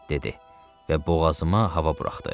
Və boğazıma hava buraxdı.